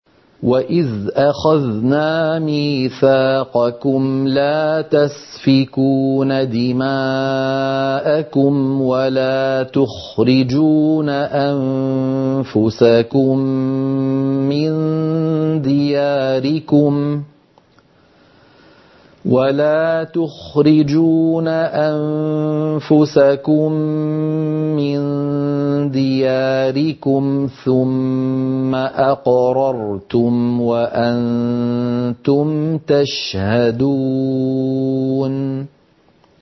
وَإِذْ أَخَذْنَا مِيثَاقَكُمْ لَا تَسْفِكُونَ دِمَاءَكُمْ وَلَا تُخْرِجُونَ أَنفُسَكُم مِّن دِيَارِكُمْ ثُمَّ أَقْرَرْتُمْ وَأَنتُمْ تَشْهَدُونَ